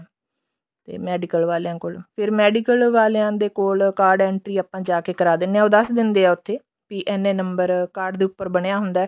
ਤੇ medical ਵਾਲਿਆਂ ਕੋਲ ਫੇਰ medical ਵਾਲਿਆਂ ਦੇ ਕੋਲ card entry ਆਪਾਂ ਜਾ ਕੇ ਕਰਾ ਦਿੰਦੇ ਹਾਂ ਉਹ ਦੱਸ ਦਿੰਦੇ ਆ ਉੱਥੇ ਵੀ ਇੰਨੇ number card ਦੇ ਉੱਪਰ ਬਣਿਆ ਹੁੰਦਾ